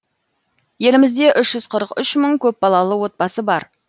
елімізде үш жүз қырық үш мың көпбалалы отбасы бар